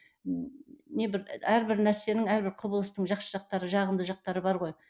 не бір әрбір нәрсенің әрбір құбылыстың жақсы жақтары жағымды жақтары бар ғой